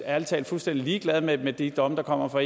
ærlig talt fuldstændig ligeglad med med de domme der kommer fra